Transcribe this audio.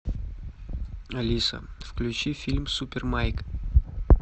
алиса включи фильм супер майк